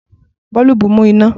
Boolubu nmu ina.